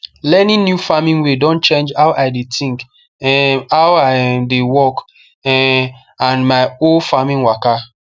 learning new farming way don change how i dey think um how i um dey work um and my whole farming waka